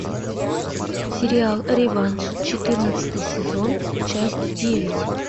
сериал реванш четырнадцатый сезон часть девять